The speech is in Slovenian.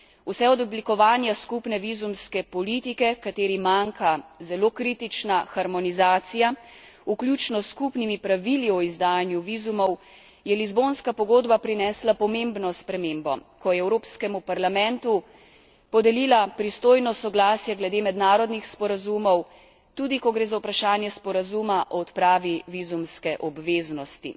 Vse od oblikovanja skupne vizumske politike, kateri manjka zelo kritična harmonizacija, vključno s skupnimi pravili o izdajanju vizumov, je Lizbonska pogodba prinesla pomembno spremembo, ko je Evropskemu parlamentu podelila pristojnost soglasja glede mednarodnih sporazumov, tudi ko gre za vprašanje sporazuma o odpravi vizumske obveznosti.